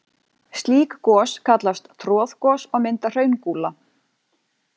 Slík gos kallast troðgos og mynda hraungúla.